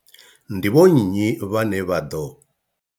Ndi vho nnyi vhane vha ḓo.